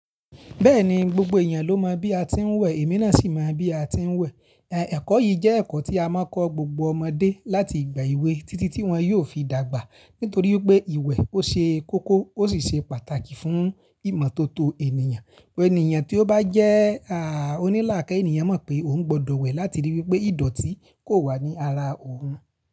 Bẹ́ẹ̀ni gbogbo ènìyàn ló mọ̀ bí a ti ń wẹ̀, èmi náà sì mọ̀ bí a ti ń wẹ̀. Ẹ̀kọ́ yìí jẹ́ ẹ̀kọ́ tí a máa ń kọ gbogbo ọmọdé láti ìgbà èwe títí tí wọ́n yóò fi dàgbà. Nítorí pé ìwẹ̀ ó ṣe kókó ó sì ṣe pàtàkì fún ìmọ̀tótó ènìyàn. Ẹniyàn tí ó bá jẹ́ oníilàkaye ènìyàn mọ̀ pé òun gbọdọ̀ wẹ̀ láti ríi wí pé ìdọ̀tí kò wà ní ara òun.